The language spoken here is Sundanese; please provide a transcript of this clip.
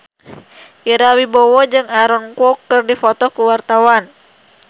Ira Wibowo jeung Aaron Kwok keur dipoto ku wartawan